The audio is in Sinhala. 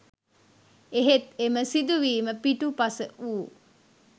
එහෙත් එම සිදුවීම පිටුපස වූ